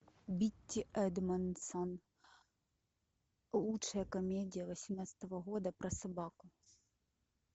битти эдмондсон лучшая комедия восемнадцатого года про собаку